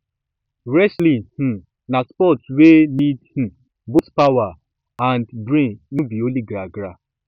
wrestling um na sport wey need um both power and um brain no be only gragra